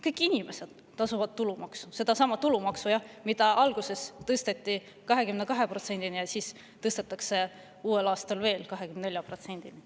Kõik inimesed tasuvad tulumaksu, sedasama tulumaksu, jah, mis tõsteti 22%‑ni ja mis tõstetakse aastal 24%‑ni.